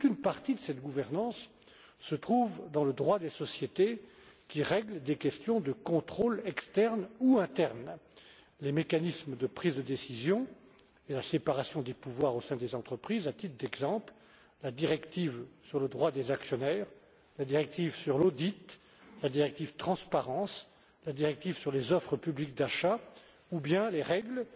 Toute une partie de cette gouvernance est inscrite dans le droit des sociétés qui règle des questions de contrôle externe ou interne, ainsi que dans les mécanismes de prise de décision et la séparation des pouvoirs au sein des entreprises, notamment dans la directive sur le droit des actionnaires, dans la directive sur l'audit, dans la directive Transparence, dans la directive sur les offres publiques d'achat ou bien dans les règles,